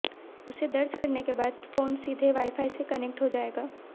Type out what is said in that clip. उसे दर्ज करने के बाद फोन सीधे वाईफाई से कनेक्ट हो जाएगा